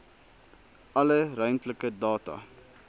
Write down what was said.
alle ruimtelike data